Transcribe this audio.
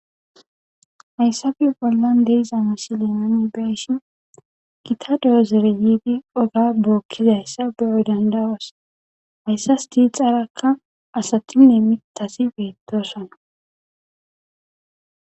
Hayssabeyo phollan deizamasi leemane beshin gita de7o zereyiidi oga bookkizayssa beyoy dandawoosa hayssas diixarakka asatinne mitasi beettosana.